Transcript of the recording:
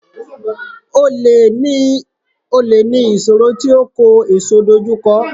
Olè ní ìṣòro tí oko èso dojú kọ.